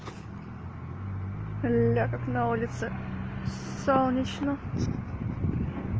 ля как на улице солнечно